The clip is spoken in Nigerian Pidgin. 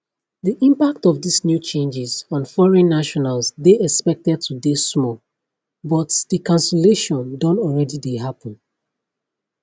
di impact of dis new changes on foreign nationals dey expected to dey small but di cancellation don alreadi dey happun